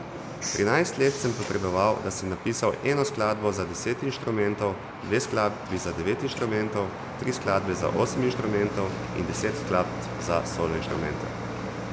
Trinajst let sem potreboval, da sem napisal eno skladbo za deset inštrumentov, dve skladbi za devet inštrumentov, tri skladbe za osem inštrumentov in deset skladb za solo inštrumente.